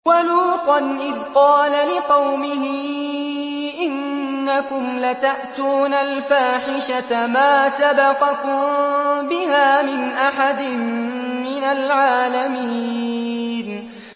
وَلُوطًا إِذْ قَالَ لِقَوْمِهِ إِنَّكُمْ لَتَأْتُونَ الْفَاحِشَةَ مَا سَبَقَكُم بِهَا مِنْ أَحَدٍ مِّنَ الْعَالَمِينَ